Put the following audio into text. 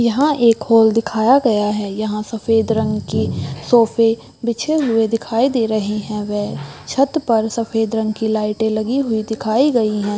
यहाँ एक होल दिखाया गया है यहाँ सफेद रंग की सोफे बिछे हुए दिखाई दे रहें हैं वे छत पर सफेद रंग की लाइटें लगी हुई दिखाई गईं हैं।